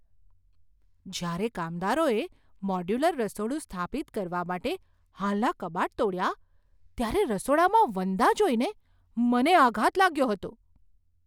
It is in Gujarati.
જ્યારે કામદારોએ મોડ્યુલર રસોડું સ્થાપિત કરવા માટે હાલનાં કબાટ તોડ્યાં, ત્યારે રસોડામાં વંદા જોઈને મને આઘાત લાગ્યો હતો.